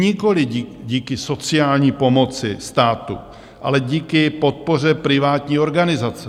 Nikoli díky sociální pomoci státu, ale díky podpoře privátní organizace.